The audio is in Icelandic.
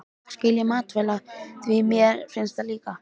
Það skil ég mætavel, því mér finnst það líka!